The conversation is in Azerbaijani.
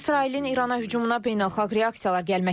İsrailin İrana hücumuna beynəlxalq reaksiyalar gəlməkdədir.